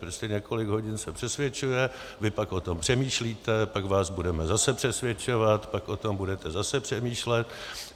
Prostě několik hodin se přesvědčuje, vy pak o tom přemýšlíte, pak vás budeme zase přesvědčovat, pak o tom budete zase přemýšlet.